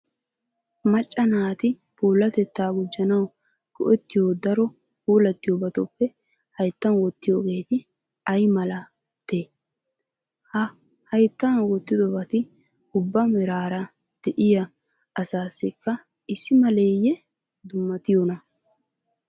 Macca naati puulatettaa gujjanawu go"ettiyo daro puulattiyobatuppe hayttan wottiyogeeti ay malatee? Ha hayttan wottiyobati ubba meraara de'iya asaassikka issi maleeyyee dummatiyonaa?